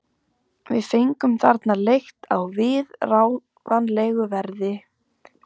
Við fengum þarna leigt á viðráðanlegu verði.